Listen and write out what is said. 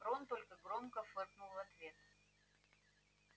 рон только громко фыркнул в ответ